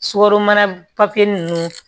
Sukaro papiye ninnu